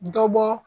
Dɔ bɔ